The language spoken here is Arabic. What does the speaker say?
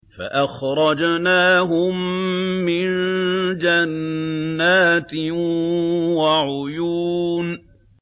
فَأَخْرَجْنَاهُم مِّن جَنَّاتٍ وَعُيُونٍ